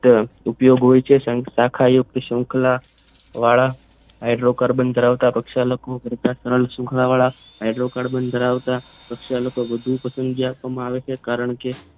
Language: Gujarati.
ઉપયોગ હોય છે શાખા યુકત શૃંખલા વાળા હાઇડ્રોકાર્બન ધરાવતા પ્રક્ષાલકો કરતા ત્રણ શૃંખલા વાળા હાઇડ્રોકાર્બન ધરાવતા પ્રક્ષાલકો લોકો વધુ પસંદગી આપવામાં આવે છે કારણ કે